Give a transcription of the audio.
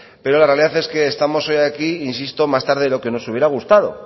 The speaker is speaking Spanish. pero la realidad es que estamos hoy aquí insisto más tarde de lo que nos hubiera gustado